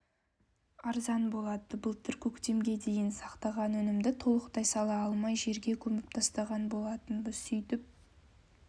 арзан болады былтыр көктемге дейін сақтаған өнімді толықтай сала алмай жерге көміп тастаған болатынбыз сөйтіп